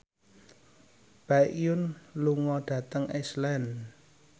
Baekhyun lunga dhateng Iceland